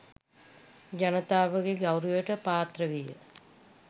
ජනතාවගේ ගෞරවයට පාත්‍ර විය.